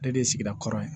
Ne de ye sigida kɔrɔ ye